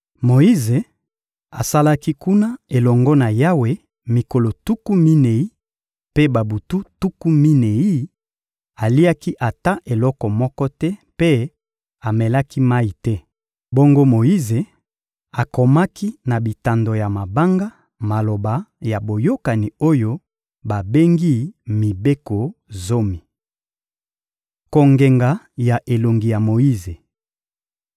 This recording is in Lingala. Moyize asalaki kuna elongo na Yawe mikolo tuku minei mpe babutu tuku minei; aliaki ata eloko moko te mpe amelaki mayi te. Bongo Moyize akomaki na bitando ya mabanga maloba ya Boyokani oyo babengi mibeko zomi. Kongenga ya elongi ya Moyize